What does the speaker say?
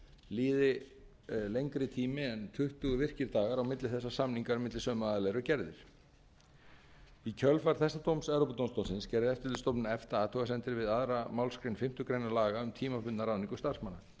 líði lengri tími en tuttugu virkir dagar á milli þess að samningar milli sömu aðila eru gerðir í kjölfar þessa dóms evrópudómstólsins gerði eftirlitsstofnun efta athugasemdir við aðra málsgrein fimmtu grein laga um tímabundna ráðningu starfsmanna